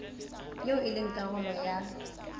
eo e leng karolo ya